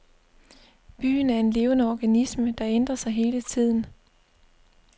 Byen er en levende organisme, der ændrer sig hele tiden.